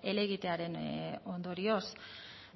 helegitearen ondorioz